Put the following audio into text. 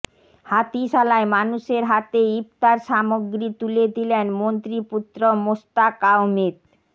হাতিশালায় মানুষের হাতে ইফতার সামগ্রী তুলে দিলেন মন্ত্রী পুত্র মোস্তাক আহমেদ